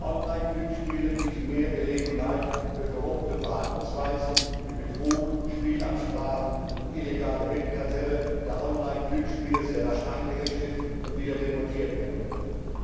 Online Glücksspiele bieten mehr Gelegenheit für korrupte Verhaltensweisen wie Betrug, Spielabsprachen und illegale Wettkartelle, da Online Glücksspiele sehr rasch eingerichtet und wieder demontiert werden können.